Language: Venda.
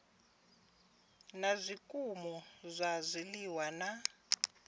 na zwikimu zwa zwiliwa na